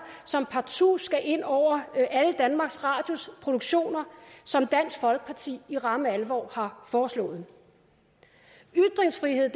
som partout skal ind over alle danmarks radios produktioner som dansk folkeparti i ramme alvor har foreslået ytringsfrihed